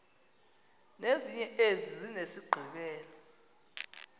ezinye zezi zinesigqibelo